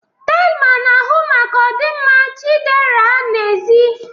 Thelma na-ahụ maka ọdịmma Chiderah n'ezie.